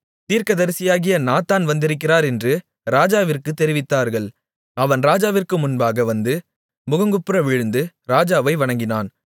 தீர்க்கதரிசியாகிய நாத்தான் வந்திருக்கிறார் என்று ராஜாவிற்குத் தெரிவித்தார்கள் அவன் ராஜாவிற்கு முன்பாக வந்து முகங்குப்புற விழுந்து ராஜாவை வணங்கினான்